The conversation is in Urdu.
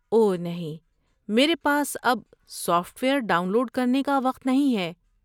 اوہ نہیں! میرے پاس اب سافٹ ویئر ڈاؤن لوڈ کرنے کا وقت نہیں ہے۔